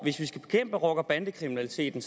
hvis vi skal bekæmpe rocker bande kriminaliteten